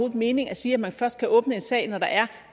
mening at sige at man først kan åbne en sag når der er